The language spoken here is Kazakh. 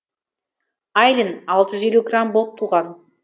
айлин алты жүз елу грамм болып туған